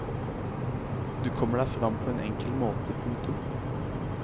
Du kommer deg frem på en enkel måte. punktum